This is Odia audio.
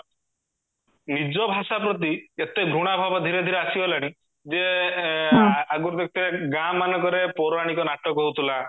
ନିଜ ଭାଷା ପ୍ରତି ଏତେ ଘୃଣା ଭାବ ଧୀରେ ଧୀରେ ଆସିଗଲାଣି ଯେ ଆଗରୁ ଦେଖିହତିବେ ଗାଁ ମାନଙ୍କରେ ପୌରଣିକ ନାଟକ ହଉଥିଲା